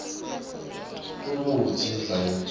kwekutsi indlala yintfo